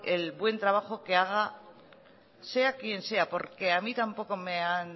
el buen trabajo que haga sea quien sea porque a mí tampoco me han